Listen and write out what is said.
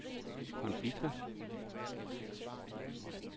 konflikter